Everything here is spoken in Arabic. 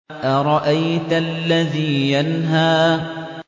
أَرَأَيْتَ الَّذِي يَنْهَىٰ